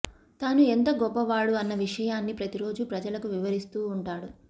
తాను ఎంత గొప్పవాడు అన్న విషయాన్ని ప్రతిరోజూ ప్రజలకు వివరిస్తూ ఉంటాడు